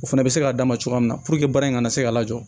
O fana bɛ se k'a d'a ma cogoya min na puruke baara in kana se ka lajɔ